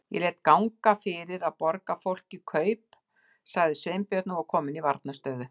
Ég lét ganga fyrir að borga fólki kaup- sagði Sveinbjörn og var kominn í varnarstöðu.